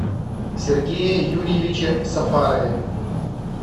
сергее юрьевиче сафарове